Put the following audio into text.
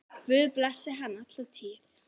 Guð blessi hann alla tíð.